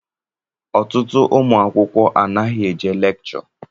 Ọtụtụ ụmụ akwụkwọ anaghị eje lekchọ.